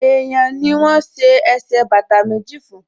Èèyàn ni wọ́n ṣe ẹsẹ̀ bàtà méjì fún